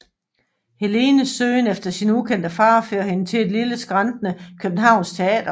Helenes søgen efter sin ukendte far fører hende til et lille skrantende københavnsk teater